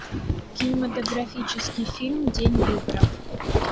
кинематографический фильм день выборов